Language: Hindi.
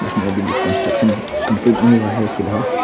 इसमें अभी भी कंस्ट्रक्शन कंप्लीट नहीं हुआ है फिलहाल।